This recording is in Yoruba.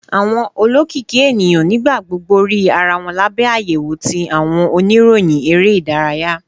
Awọn olokiki eniyan nigbagbogbo rii ara wọn labẹ ayewo ti awọn oniroyin ere idaraya.